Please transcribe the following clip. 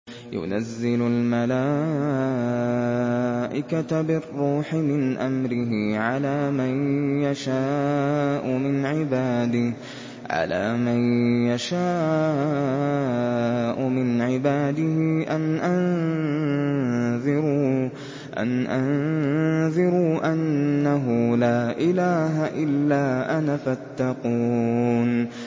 يُنَزِّلُ الْمَلَائِكَةَ بِالرُّوحِ مِنْ أَمْرِهِ عَلَىٰ مَن يَشَاءُ مِنْ عِبَادِهِ أَنْ أَنذِرُوا أَنَّهُ لَا إِلَٰهَ إِلَّا أَنَا فَاتَّقُونِ